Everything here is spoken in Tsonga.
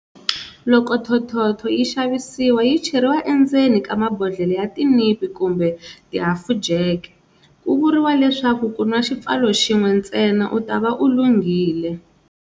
Loko thothotho yi xavisiwa yi cheriwa endzeni ka mabodhlela ya tinipi kumbe tihafujeke. Ku vuriwa leswaku ku nwa xipfalo xin'we ntsena u ta va u lunghile.